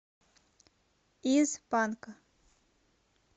из панка